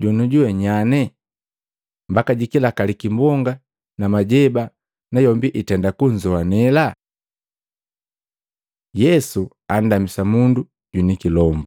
Jonujuwe nyanye? Mbaka jikilakali kimbonga na majeba nayombi itenda kunzowanela!” Yesu andamisa mundu jwinikilombu Matei 8:28-32; Maluko 5:1-20